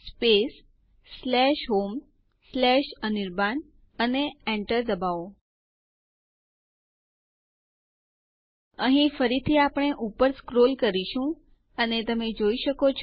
password સુરક્ષા ના કારણો અને ખાતરી માટે બે વખત પૂછવામાં આવે છે